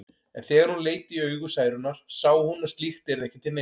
En þegar hún leit í augu Særúnar sá hún að slíkt yrði ekki til neins.